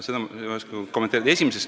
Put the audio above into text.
Seda ma ei oska kommenteerida.